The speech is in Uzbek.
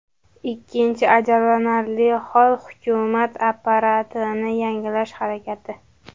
Ikkinchi ajablanarli hol, hukumat apparatini yangilash harakati.